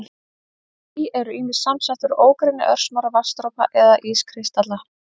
Ský eru ýmist samsett úr ógrynni örsmárra vatnsdropa eða ískristalla.